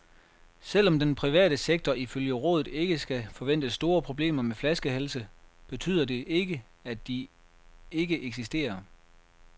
Selv om den private sektor ifølge rådet ikke skal forvente store problemer med flaskehalse, betyder det ikke, at de ikke eksisterer.